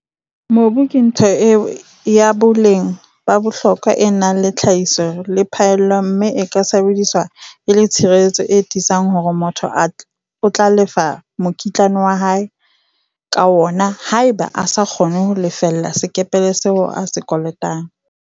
Mobu ke ntho ya boleng ba bohlokwa e nang le tlhahiso le phaello mme o ka sebediswa e le tshireletso e tiisang hore motho o tla lefa mokitlane wa hae ka wona haeba a sa kgone ho lefella sekepele seo a se kolotang.